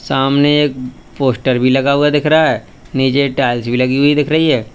सामने एक पोस्टर भी लगा हुआ दिख रहा है नीचे टाइल्स भी लगी हुई दिख रही है।